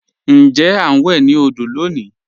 Ǹjẹ̀ a n wè ni òdò lọ́ní?